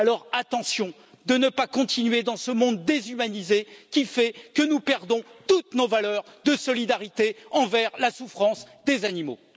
Alors attention à ne pas continuer dans ce monde déshumanisé, qui fait que nous perdons toutes nos valeurs de solidarité envers la souffrance des animaux.